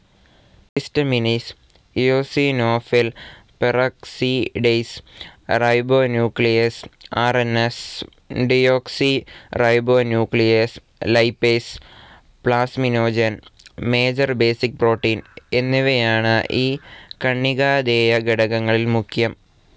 Histaminase, eosinophil peroxidase, ribonuclease, RNase, deoxyribonuclease, lipase, plasminogen, major basic protein എന്നിവയാണ് ഈ കണികാധേയഘടകങ്ങളിൽ മുഖ്യം.